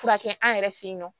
Furakɛ an yɛrɛ fe yen nɔ